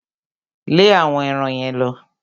Lẹ́ àwọn eran yẹn lọ!